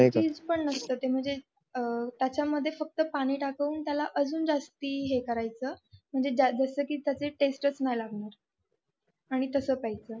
नाही का टेस्टपण नसत तते म्हणजे त्याच्या मध्ये पाणी टाकून त्याला अजून जास्ती हे करायचं कि त्याची टेस्टपण नाही लागणार आणि तस प्यायचं